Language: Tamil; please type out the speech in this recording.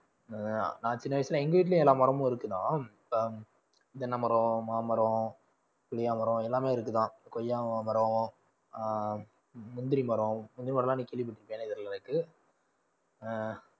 நான் சின்ன வயசுல எங்க வீட்லயும் எல்லா மரமும் இருக்குதா தென்னை மரம், மாமரம், புளியமரம் எல்லாமே இருக்குதான் கொய்யா மரம் ஆஹ் முந்திரி மரம், முந்திரி மரம் எல்லாம் நீ கேள்விப்பட்டிருப்பியானே தெரியலை எனக்கு ஆஹ்